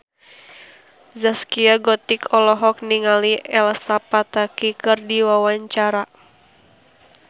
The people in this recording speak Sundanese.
Zaskia Gotik olohok ningali Elsa Pataky keur diwawancara